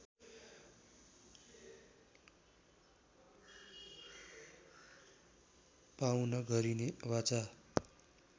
पाउन गरिने वाचा